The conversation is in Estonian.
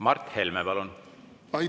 Mart Helme, palun!